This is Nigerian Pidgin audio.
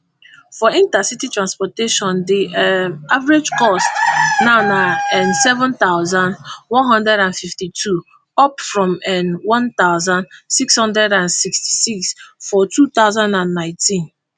for inter city transportation di um average cost now na nseven thousand, one hundred and fifty-two up from none thousand, six hundred and sixty-six for two thousand and nineteen